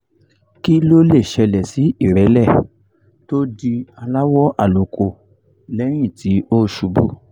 kí ló lè ṣẹlẹ̀ sí ìrẹ́lẹ̀ tó di aláwọ̀ àlùkò lẹ́yìn tí ó ṣubú?